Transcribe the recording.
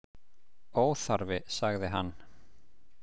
Óþarfi, sagði hann.